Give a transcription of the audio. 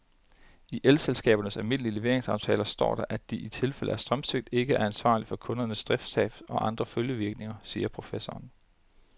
I elselskabernes almindelige leveringsaftaler står der, at de i tilfælde af strømsvigt ikke er ansvarlig for kundernes driftstab og andre følgevirkninger, siger professoren.